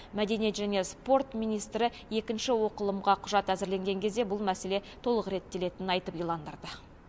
мәдениет және спорт министрі екінші оқылымға құжат әзірленген кезде бұл мәселе толық реттелетінін айтып иландырды